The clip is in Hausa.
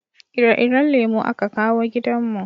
ire-iren lemo a ka kawo gidan mu